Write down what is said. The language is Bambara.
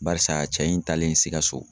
Barisa cɛ in talen sikaso